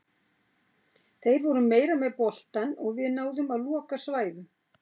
Þeir voru meira með boltann og við náðum að loka svæðum.